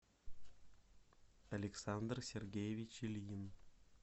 александр сергеевич ильин